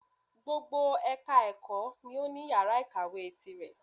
Gbogbo ẹka ẹ̀kọ́ ni o ní yàrá ìkàwé tirẹ̀.